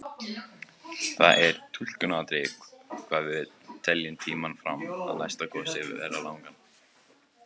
Það er túlkunaratriði hvað við teljum tímann fram að næsta gosi vera langan.